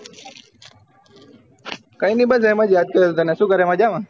કયી નહિ બસ એમ જ યાદ કર્યો તને શું કરે મજા મા